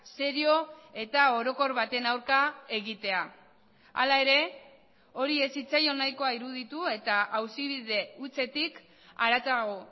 serio eta orokor baten aurka egitea hala ere hori ez zitzaion nahikoa iruditu eta auzibide hutsetik haratago